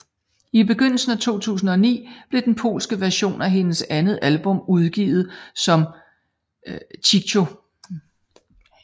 I begyndelsen af 2009 blev den polske version af hendes andet album udgivet som Cicho